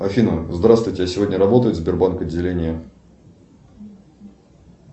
афина здравствуйте а сегодня работает сбербанк отделение